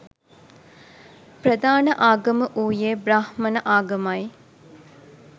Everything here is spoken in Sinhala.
ප්‍රධාන ආගම වූයේ බ්‍රාහ්මණ ආගමයි.